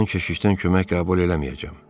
Mən keşişdən kömək qəbul eləməyəcəm.